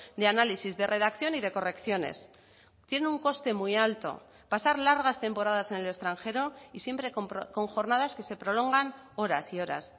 de análisis de redacción y de correcciones tiene un coste muy alto pasar largas temporadas en el extranjero y siempre con jornadas que se prolongan horas y horas